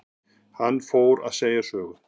Hann fór að segja sögu.